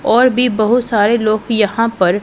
और भी बहुत सारे लोग यहां पर--